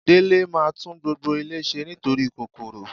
Délé máa tún gbogbo ilé ṣe nítorí kòkòrò.